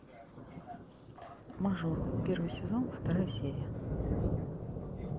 мажор первый сезон вторая серия